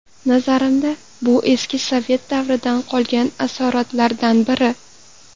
Nazarimda, bu eski sovet davridan qolgan asoratlardan biri.